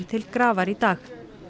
til grafar í dag